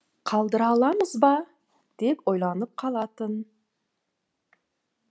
қалдыра аламыз ба деп ойланып қалатын